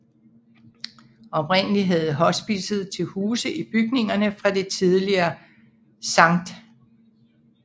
Oprindelig havde hospicet til huse i bygningerne fra det tidligere Sct